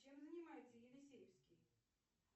чем занимается елисеевский